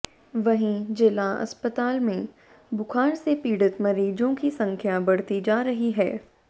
वहीं जिला अस्पताल में बुखार से पीड़ित मरीजों की संख्या बढ़ती जा रही है